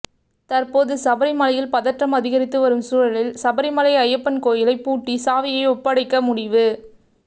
தற்போது சபரிமலையில் பதற்றம் அதிகரித்து வரும் சூழலில் சபரிமலை ஐயப்பன் கோயிலைப் பூட்டி சாவியை ஒப்படைக்க முடிவு